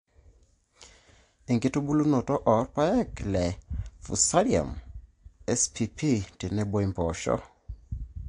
enkitunulunoto oo rpaek le Fusarium spp tenebo impoosho